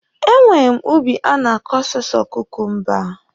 E nwere m ubi a na-akọ sọsọ kukumba.